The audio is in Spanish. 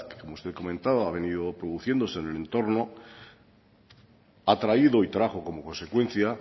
que como usted comentaba ha venido produciéndose en el entorno ha traído y trajo como consecuencia